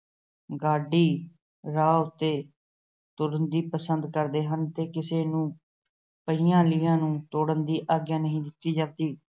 ਗਾ਼ਡੀ ਰਾਹ ਉੱਤੇ ਤੁਰਨਾ ਪਸੰਦ ਕਰਦੇ ਹਨ ਤੇ ਕਿਸੇ ਨੂੰ ਪੁਰਾਣੀਆਂ ਲੀਹਾਂ ਤੋੜਨ ਦੀ ਆਗਿਆ ਨਹੀਂ ਦਿੱਤਾ ਜਾਂਦੀ।